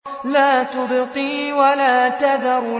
لَا تُبْقِي وَلَا تَذَرُ